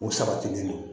U sabatilen